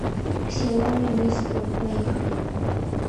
ксиоми ми стор поехали